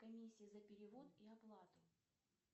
комиссия за перевод и оплату